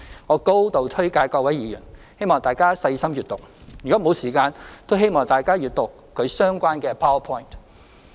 我高度推介給各位議員，希望大家細心閱讀；若沒有時間，都請大家閱讀其相關的 PowerPoint。